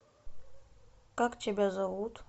как тебя зовут